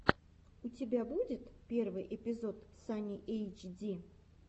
у тебя будет первый эпизод сани эйчди